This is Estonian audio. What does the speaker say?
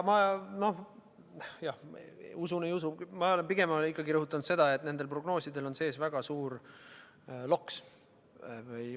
Ma – usun, ei usu – olen pigem ikkagi rõhutanud seda, et nendel prognoosidel on sees väga suur loks.